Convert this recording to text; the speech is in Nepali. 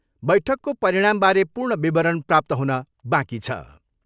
बैठकको परिणामबारे पूर्ण विवरण प्राप्त हुन बाँकी छ।